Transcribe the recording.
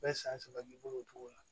Bɛ san saba k'i bolo o cogo la